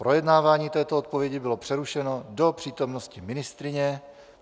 Projednávání této odpovědi bylo přerušeno do přítomnosti ministryně.